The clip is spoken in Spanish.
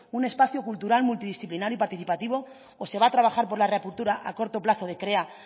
un espacio cultural multidisciplinar y participativo o se va a trabajar por la reapertura a corto plazo de krea